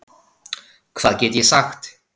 Hvað get ég sagt?